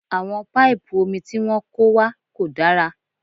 Àwọn paipu omi tí wọ́n kó wá kò dára